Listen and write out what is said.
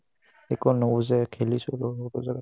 একো নুবুজাই খেলিছো সৰু সৰু জাগাত